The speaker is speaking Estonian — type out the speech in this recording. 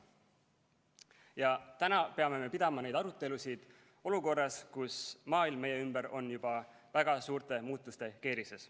Ja täna peame pidama neid arutelusid olukorras, kus maailm meie ümber on juba väga suurte muutuste keerises.